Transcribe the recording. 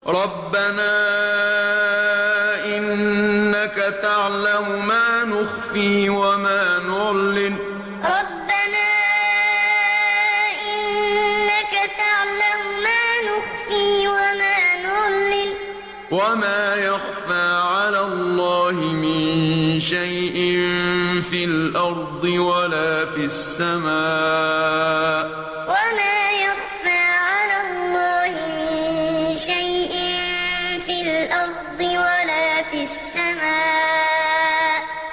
رَبَّنَا إِنَّكَ تَعْلَمُ مَا نُخْفِي وَمَا نُعْلِنُ ۗ وَمَا يَخْفَىٰ عَلَى اللَّهِ مِن شَيْءٍ فِي الْأَرْضِ وَلَا فِي السَّمَاءِ رَبَّنَا إِنَّكَ تَعْلَمُ مَا نُخْفِي وَمَا نُعْلِنُ ۗ وَمَا يَخْفَىٰ عَلَى اللَّهِ مِن شَيْءٍ فِي الْأَرْضِ وَلَا فِي السَّمَاءِ